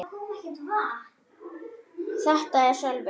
Þetta er Sölvi.